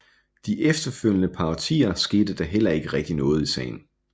De efterfølgende par årtier skete der heller ikke rigtig noget i sagen